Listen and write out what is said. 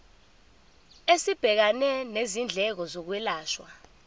esibhekene nezindleko zokwelashwa